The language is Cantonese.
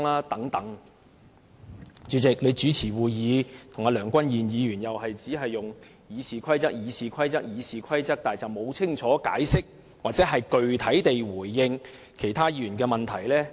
代理主席，你主持會議，跟梁君彥議員一樣，都是只會重複提述《議事規則》，但卻沒有清楚解釋或具體地回應議員的問題。